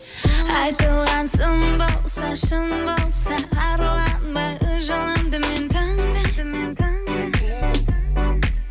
айтылған сын болса шын болса арланбай өз жолымды мен таңдаймын